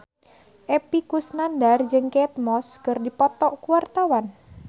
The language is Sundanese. Epy Kusnandar jeung Kate Moss keur dipoto ku wartawan